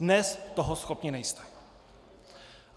Dnes toho schopni nejste.